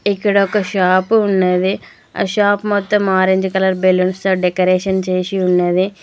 ఇక్కడ ఒక షాపు ఉన్నది ఆ షాప్ మొత్తం ఆరెంజ్ కలర్ బ్యాలెన్స్ తో డెకరేషన్ చేసి ఉన్నది.